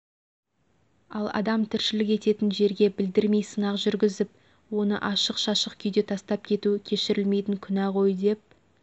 ал адам тірлішік ететін жерге білдірмей сынақ жүрігізіп оны ашық шашық күйде тастап кету кешірілмейтін күнә ғой деп